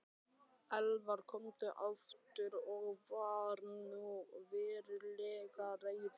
Elvar kom aftur og var nú verulega reiður.